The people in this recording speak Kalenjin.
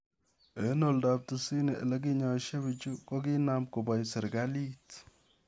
Eng' oldoo 90 olekinyaisishie piichu, ko konoom koboo serkaliit.